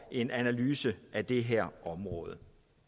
en analyse af det her område